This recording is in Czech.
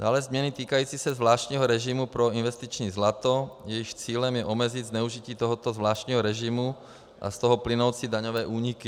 Dále změny týkající se zvláštního režimu pro investiční zlato, jejichž cílem je omezit zneužití tohoto zvláštního režimu a z toho plynoucí daňové úniky.